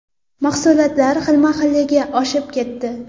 Mahsulotlar xilma-xilligi oshib ketdi.